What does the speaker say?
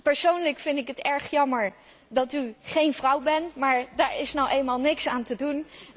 Persoonlijk vind ik het erg jammer dat u geen vrouw bent, maar daaraan is nu eenmaal niets te doen.